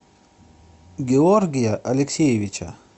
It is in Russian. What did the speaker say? георгия алексеевича